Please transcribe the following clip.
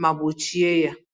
ma gbochie ya